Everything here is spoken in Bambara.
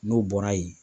N'o bɔra yen